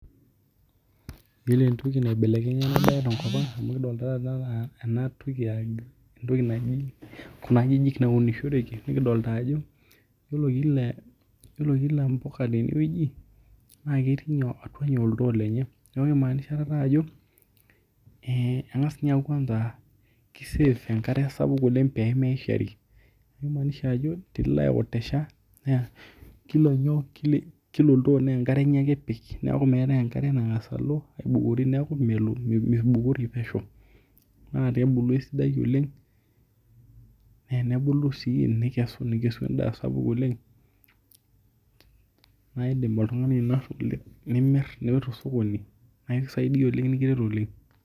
Yiolo entoki naibelekenya tenkopang nikidol nai anaa enatoki nikidolta ajo kuna ajijik nikiunishoreki nikidolta ajo yiolo kila mpuka tenewueji netii atua oltoo lenye neaku kimaanisha ajo engas ninye kwanza aa kisave enkare sapuk pemeishari kila oltoo na kika enkare ake epik neaky meetae enkare nalo aibukori neaku mibukori pesho na ten buku esidai nikesu endaa sidai oleng na idim oltungani atimira tosokoni aikisaidia oleng